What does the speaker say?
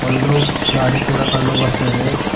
ಒಂದು ಗಾಡಿ ಕೂಡ ಕಂಡು ಬರುತಯಿದೆ.